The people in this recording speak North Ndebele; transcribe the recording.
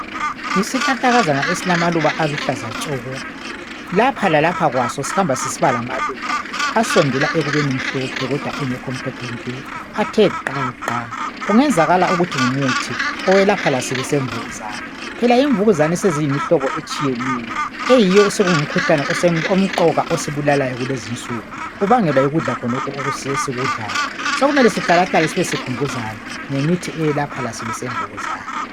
Yisihlahlakazana esilamaluba aluhlaza tshoko lapha lalapha Kwaso sihamba sisiba lamaluba asondela ekubeni mhlophe kodwa engekhonmhlophe nke athe gqa gqa. Kungenzakala ukuthi ngumuthi owelapha lasibi semvukuzane. Phela imvukuzane seziyimihlobo etshiyeneyo eyiyo osekungumkhuhlane omqoka osibulalayo kulezinsuku ubangelwa yikudla khonokhu esikudlayo sokumele sihlalahlale sibe sikhumbuzana ngemithi eyelapha lasibi semvukuzane.